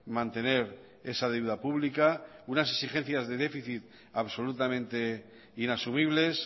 mantener esa deuda pública unas exigencias de déficit absolutamente inasumibles